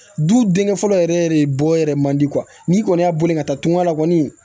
Du denkɛ fɔlɔ yɛrɛ de bɔ yɛrɛ man di n'i kɔni y'a bɔli ka taa tungan la kɔni